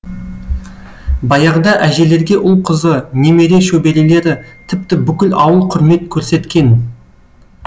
баяғыда әжелерге ұл қызы немере шөберелері тіпті бүкіл ауыл құрмет көрсеткен